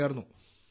യിൽ ചേർന്നു